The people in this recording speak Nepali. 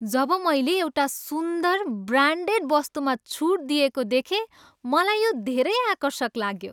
जब मैले एउटा सुन्दर, ब्रान्डेड वस्तुमा छुट दिइएको देखेँ मलाई यो धेरै आकर्षक लाग्यो।